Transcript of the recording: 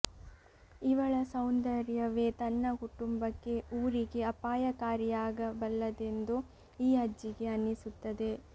ಇವಳ ಸೌಂದರ್ಯವೇ ತನ್ನ ಕುಟುಂಬಕ್ಕೆ ಊರಿಗೆ ಅಪಾಯಕಾರಿಯಾಗಬಲ್ಲದೆಂದು ಈ ಅಜ್ಜಿಗೆ ಅನ್ನಿಸುತ್ತದೆ